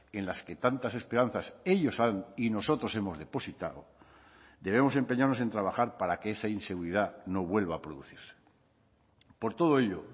en las que tantas esperanzas ellos y nosotros hemos depositado debemos empeñarnos en trabajar para que esa inseguridad no vuelva a producirse por todo ello